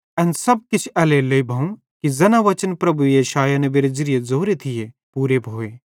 एन सब किछ एल्हेरेलेइ भोवं कि ज़ैना वचन प्रभुए यशायाह नेबेरे ज़िरिये ज़ोरे थिये पूरे भोए कि